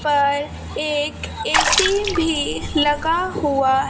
पर एक ए_सी भी लगा हुआ--